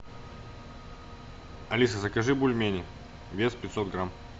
алиса закажи бульмени вес пятьсот грамм